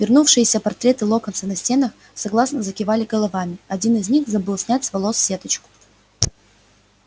вернувшиеся портреты локонса на стенах согласно закивали головами один из них забыл снять с волос сеточку